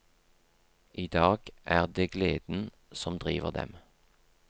I dag er det gleden som driver dem.